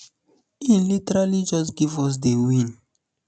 e literally just give us di win